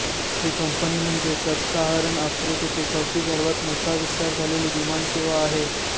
ही company म्हणजे sub Saharan आफ्रिकेची चौथी सर्वात मोठा विस्तार झालेली विमान सेवा आहे